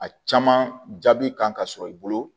A caman jaabi kan ka sɔrɔ i bolo